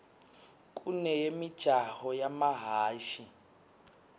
kuneyemijaho yemahhashi